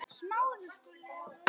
Þetta kemur bara í ljós.